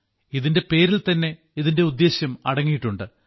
ഇതിന്റെ പേരിൽത്തന്നെ ഇതിന്റെ ഉദ്ദേശ്യം അടങ്ങിയിട്ടുണ്ട്